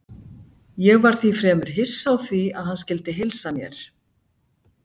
Ég var því fremur hissa á því að hann skyldi heilsa mér.